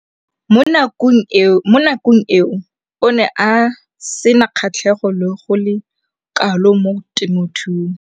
Mo nakong eo o ne a sena kgatlhego go le kalo mo temothuong.